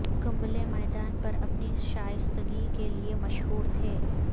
کمبلے میدان پر اپنی شائستگی کے لیے مشہور تھے